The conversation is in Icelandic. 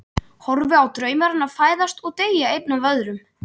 Horfi á drauma hennar fæðast og deyja einn af öðrum.